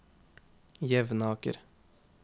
Jevnaker